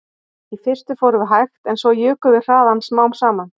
Í fyrstu fórum við hægt en svo jukum við hraðann smám saman